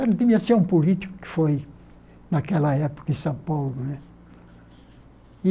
Ele devia ser um político que foi, naquela época, em São Paulo né.